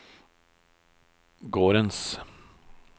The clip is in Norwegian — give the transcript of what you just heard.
gårdens